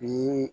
Bi